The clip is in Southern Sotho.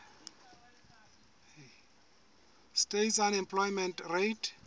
states unemployment rate